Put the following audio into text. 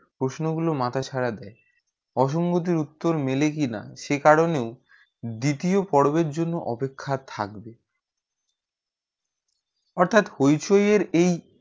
প্রশ্ন গুলু মাথায় ছাড়া দেয় অসঙ্গতি উত্তর মিলে কি না সেই কারণে দ্বিতীয় পর্বের জন্য অপেক্ষা থাকবে অর্থ্যাৎ hoichoi এর এই